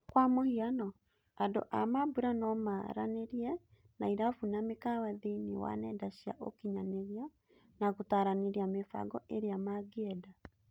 Kwa mũhiano, andũ a mambũra nomaranĩrie na irabu na mĩkawa thĩiniiĩ wa nenda cia ũkinyanĩria na gũtaranĩria mĩbango ĩrĩa ma ngĩenda.